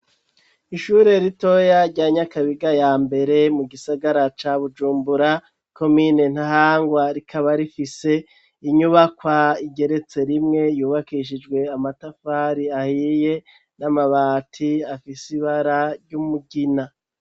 Ishure ritoya rya nyakabiga ya mbere, mu gisagara ca bujumbura komine ntahangwa ,rikaba rifise inyubakwa igeretse rimwe ,yubakishijwe amatafari ahiye, n'amabati afise ibara ry'umugina.